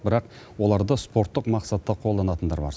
бірақ оларды спорттық мақсатта қолданатындар бар